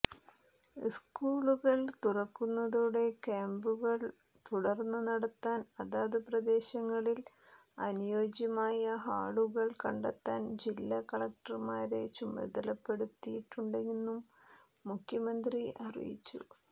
സ്കൂളുകൾ തുറക്കുന്നതോടെ ക്യാമ്പുകൾ തുടർന്ന് നടത്താൻ അതാതു പ്രദേശങ്ങളിൽ അനുയോജ്യമായ ഹാളുകൾ കണ്ടെത്താൻ ജില്ലാ കളക്ടർമാരെ ചുമതലപ്പെടുത്തിയിട്ടുണ്ടെന്നും മുഖ്യമന്ത്രി അറിയിച്ചു